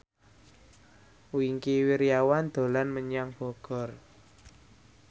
Wingky Wiryawan dolan menyang Bogor